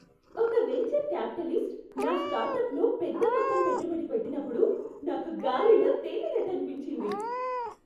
ఒక venture capitalist నా స్టార్టప్లో పెద్ద మొత్తం పెట్టుబడి పెట్టినప్పుడు నాకు గాలిలో తేలినట్టు అనిపించింది.